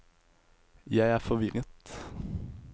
jeg er forvirret